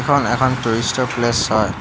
এইখন এখন টুৰিষ্টতৰ প্লেচ হয়।